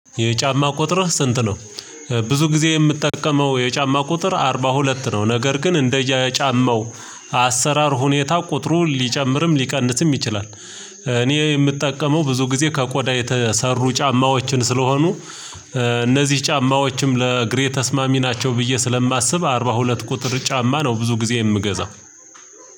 የጫማ ቁጥር ስንት ነው? ብዙ ጊዜ የምትጠቀመው የጫማ ቁጥር አርባ ሁለት ነው ነገር ግን እንደየ ጫማው አሰራር ሁኔታ ቁጥሩ ሊጨምርም ሊቀንስም ይችላል። እኔ የምጠቀመው ብዙ ጊዜ ከቆዳ የተሰሩ ጫማዎችን ስለሆኑ እነዚህ ጫማዎችም ለእግሬ ተስማሚ ናቸው ብዬ ስለማስብ አርባ ሁለት ቁጥር ጫማ ነው። ብዙ ጊዜ የምገዛው።